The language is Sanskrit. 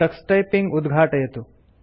टक्स टाइपिंग उद्घाटयतु